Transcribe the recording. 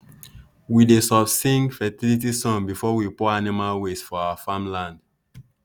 we dey soft sing fertility song before we pour animal waste for our farm land.